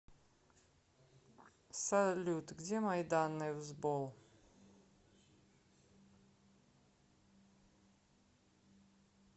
салют где мои данные в сбол